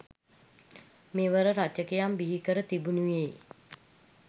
මෙම රචකයන් බිහිකර තිබෙනුයේ